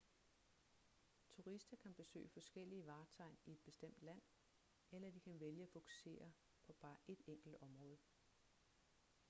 turister kan besøge forskellige vartegn i et bestemt land eller de kan vælge at fokusere på bare et enkelt område